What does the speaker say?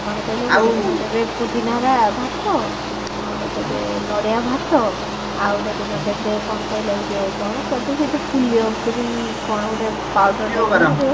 କଣ କହିଲ ପୁଦିନା ର ଭାତ ଆଉ ଟେ ଦେବେ ନଡିଆ ଭାତ ଆଉ ଗୋଟେ ଦିନ ଦେବେ କଣ କହିଲ ଏଇ ଯୋଉ କଣ କୁହନ୍ତି ସେ ଯୋଉ ପୁଲିୟ ଗ୍ରୀ କଣ ଗୋଟେ